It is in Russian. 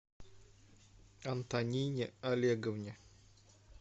антонине олеговне